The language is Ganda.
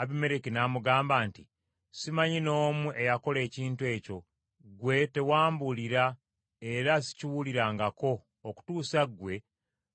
Abimereki n’amugamba nti, “Simanyi n’omu eyakola ekintu ekyo, ggwe tewambulira era sikiwulirangako okutuusa ggwe